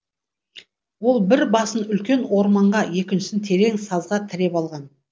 ол бір басын үлкен орманға екіншісін терең сазға тіреп алған